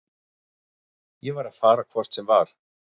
Ég var að fara hvort sem var.